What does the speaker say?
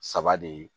Saba de